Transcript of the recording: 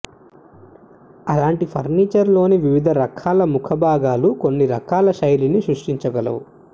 అలాంటి ఫర్నిచర్లోని వివిధ రకాల ముఖభాగాలు కొన్ని రకాల శైలిని సృష్టించగలవు